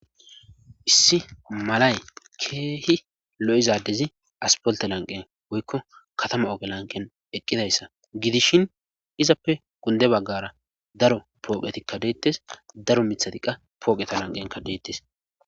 Issi malay keehi lo7iza addezi aspolte lanqen woykko katama oge lanqen eqqidayssa gidishin izappe gunde baggara daro pooqetikka deettes daro mithatiqa pooqeta lanqenka deettes.